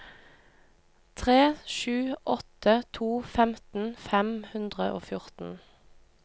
tre sju åtte to femten fem hundre og fjorten